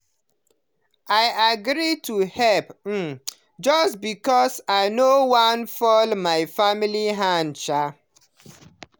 i agree to help um just because i no wan fall my family hand. um